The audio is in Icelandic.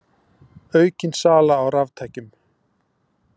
Aukin sala á raftækjum